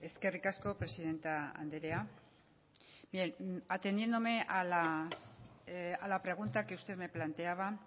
eskerrik asko presidente anderea bien atendiéndome a la pregunta que usted me planteaba